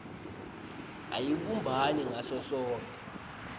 ayibumbani ngaso sonkhe